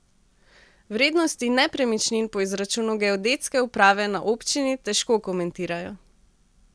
Vrednosti nepremičnin po izračunu geodetske uprave na občini težko komentirajo.